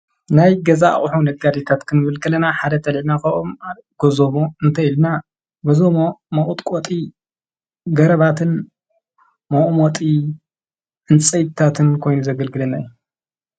ናይ ገዛ ኣቕሖ ነጋዲታትክንምብልገለና ሓደተ ልልና ኸኦም ጐዞሞ እንተኢልና በዞ መቕጥቖጢ ገረባትን መኡሞጢ እንጸይታትን ኮይኑ ዘገልግለና የ።